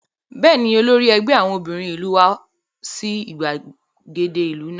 Bẹ́ẹ̀ni, olórí ẹgbẹ́ àwọn obìnrin ìlú wá sí ìgbàgede ìlú lánàá